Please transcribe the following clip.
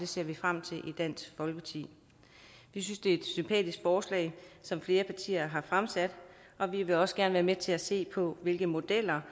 ser vi frem til i dansk folkeparti vi synes det er et sympatisk forslag som flere partier har fremsat og vi vil også gerne være med til at se på hvilke modeller